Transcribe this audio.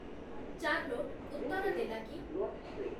Charlotte ଉତ୍ତର ଦେଲା କି?